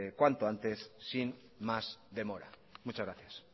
cuanto antes sin más demora muchas gracias